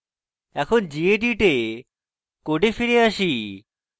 এখন gedit এ code ফিরে আসি